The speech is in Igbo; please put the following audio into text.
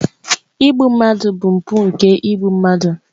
Igbu mmadụ bụ mpụ nke igbu mmadụ.